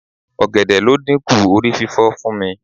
Ọ̀gẹ̀dẹ̀ ló dínkù orí fífọ fún mi.